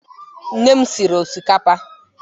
Nne m sịrị ọsịkapa